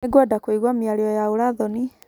Nĩngwenda kũigua mĩario ya ũũra thoni.